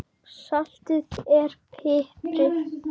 Saltið og piprið.